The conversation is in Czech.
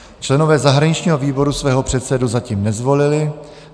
Členové zahraničního výboru svého předsedu zatím nezvolili.